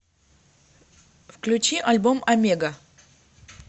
включи альбом омега